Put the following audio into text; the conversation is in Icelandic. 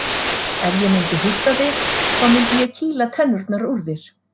Ef ég myndi hitta þig þá myndi ég kýla tennurnar úr þér.